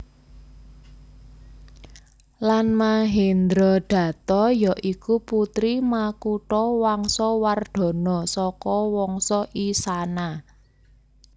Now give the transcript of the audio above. Lan Mahendradatta ya iku putri Makuthawangsawardhana saka Wangsa Isana